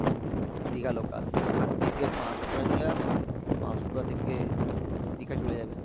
Digha local, তুমি ওখান থেকে পাসপুরে চলে আসো পাসপুরা থেকে দীঘা চলে যাবে